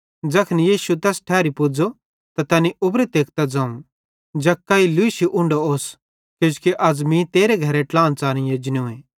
ज़ैखन यीशु तैस ठैरी पुज़ो त तैनी उबरू तेकतां ज़ोवं जक्कई लूशी उन्ढो ओस किजोकि अज़ मीं तेरे घरे ट्लाहन च़ारेई एजनूए